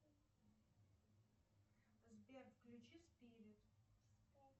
сбер включи спирит